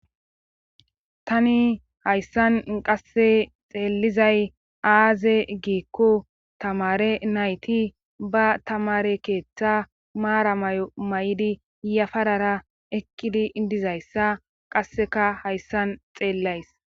tani hayssan inqasse xeellizay aaze giikko tamare nayti ba tamare keeththa maara may7o may7idi yafarara eqqidi idizayssa qasseka hayssan xeellays